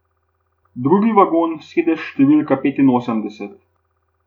Drugi vagon, sedež številka petinosemdeset.